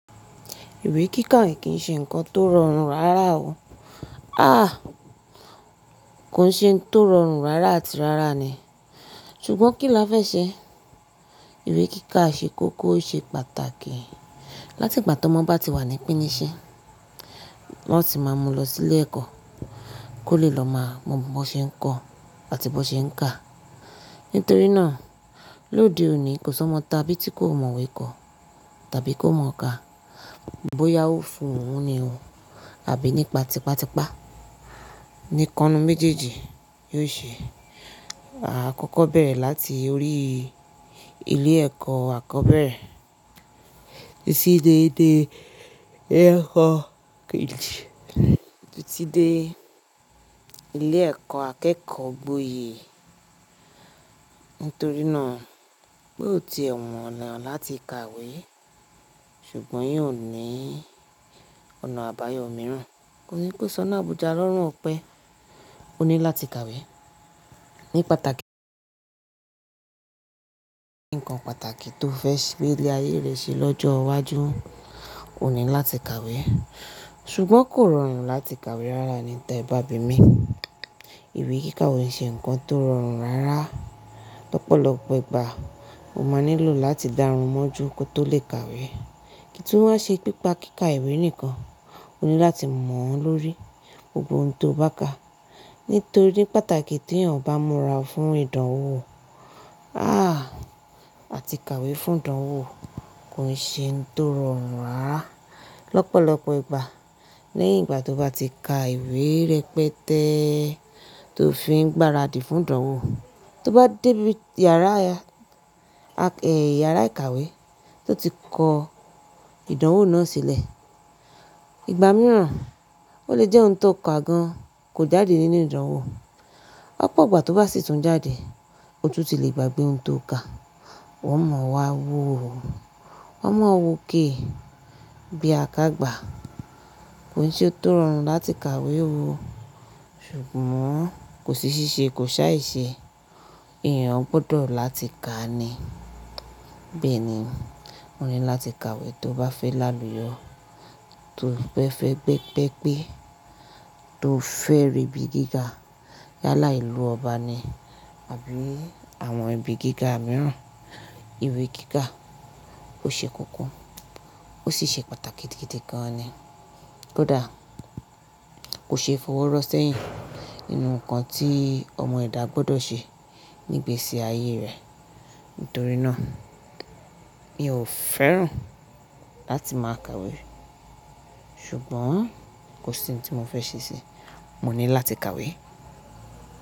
Ìwé kíka kì í ṣe nǹkan tó rọrùn rárá o. Àh! Kò ṣe nǹkan tó rọrùn rárá àti rárá ni. Ṣùgbọ́n kí la fẹ́ ṣẹ? Ìwé kíkà ṣe kókó, ó ṣe pàtàkì. Láti ìgbà tí ọmọ bá ti wà ní pínṣìn, ni wọn ti máa mú lọ sí ilé-ẹ̀kọ́ kó lè lọ má mo bí wọ́n ṣe ń kọ àti bí wọ́n ṣe ń ka. Nítorí náà, lódè òní, kò sí ọmọ tàbí tí kò mọ ìwé kọ, tàbí kò mọ kà. Bóyá ó fún òun ni o, àbí nípa tipàtipà. Ikan nínu méjèèjì yóò ṣẹ. Àkọ́kọ́ bèrè láti orí ilé ẹ̀kọ́ àkọ́bẹ̀rẹ̀ títí dé ilé ẹ̀kọ́ kéjì títí dé ilé ẹ̀kọ́ akẹ́kọ̀ọ́ gbọyè. Nítorí náà, pé ò ti è wonà láti kàwé, ṣùgbọ́n eyan ò ní ọ̀nà àbáyọ̀ mìíràn. Kò sí kò ṣọ́nà àbùjá lọ́rùn òpẹ́. Ó ní láti kàwé. Nǹkan pàtàkì tí ó fẹ́ fi ilé ayé rẹ̀ ṣe lọ́jọ́ iwájú ni láti kàwé. Ṣùgbọ́n kò rọrùn láti kàwé rárá ní tí e bá bi mí. Ìwé kíka ò ṣe nǹkan tó rọrùn rárá. Lọ́pọ̀lọpọ̀ ìgbà, o máa nílò láti dárunmọ́ ju kí o tó lè kàwé. Kì í tún wà ní ṣe nípa kíka ìwé nìkan. O ní láti mọ̀ ọ́n lórí gbogbo ohun tó bá ka. Nítorí pàtàkì tí ènìyàn bá múra fún ìdánwò. Àh! Àti kàwé fún ìdánwò kò ṣe nǹkan tó rọrùn rárá. Lọ́pọ̀lọpọ̀ ìgbà, lẹ́yìn ìgbà tó bá ti ka ìwé rẹpẹtẹ́ tó fi ń gbáradì fún ìdánwò, tó bá dé ibi yàrá, iyàrá ìkàwé tó ti kọ ìdánwò náà sílẹ̀, ìgbà mìíràn ó lè jẹ́ ohun tó kà gan kò jáde nínú ìdánwò. Ní ọ̀pọ̀ ìgbà tó bá sì tún jáde, ó tún ti lè gbagbè ohun tó ka. Ó mọ wá wò ó. Ó mọ wò ó ké bí akágbà. Kò ṣe ó tó rọrùn láti kàwé ó, ṣùgbọ́n kò sí ṣíṣe kò ṣáì ṣe. Ìyẹn gbọdọ̀ láti kà ni. Bẹ́ẹ̀ni, o ní láti kàwé tí o bá fẹ́ lálùyọ. Tí ó bá fè bá egbé pẹ́, tí o fẹ́ rí ibi gíga yálà ìlú ọba ni àbí àwọn ibi gíga mìíràn, ìwé kíkà ó ṣe kókó. Ó sì ṣe pàtàkì gidi gan ni. Kódà, kò ṣeé fi owó rọ́ sẹ́yìn nínú nǹkan tí ọmọ èdà gbọ́dọ̀ ṣe Nígbèsi ayé rẹ̀. Nítorí náà, ìyẹn ò fẹ́ràn láti máa kàwé. Ṣùgbọ́n kò sí ohun tí mo fẹ́ ṣe sí i. Mo ní láti kàwé.